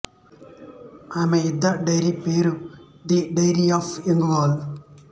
ఈమె యుద్ధ డైరీ పేరు the diary of a young girl